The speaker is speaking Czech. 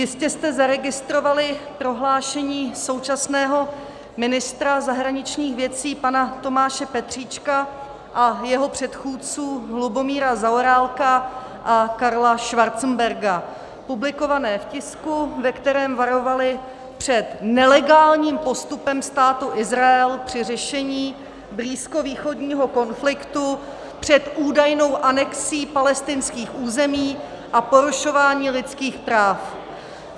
Jistě jste zaregistrovali prohlášení současného ministra zahraničních věcí pana Tomáše Petříčka a jeho předchůdců Lubomíra Zaorálka a Karla Schwarzenberga publikované v tisku, ve kterém varovali před nelegálním postupem Státu Izrael při řešení blízkovýchodního konfliktu, před údajnou anexí palestinských území a porušování lidských práv.